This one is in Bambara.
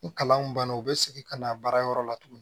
Ni kalanw banna u bɛ segin ka na baarayɔrɔ la tuguni